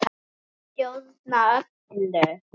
Ég stjórna öllu.